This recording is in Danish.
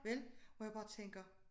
Vel hvor jeg bare tænker